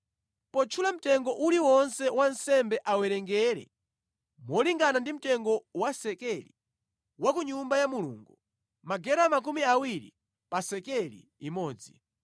Potchula mtengo uliwonse wansembe awerengere molingana ndi mtengo wa sekeli wa ku Nyumba ya Mulungu: magera makumi awiri pa sekeli imodzi.